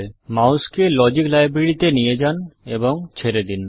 মাউসকে logic library তে নিয়ে যান এবং ছেড়ে দিন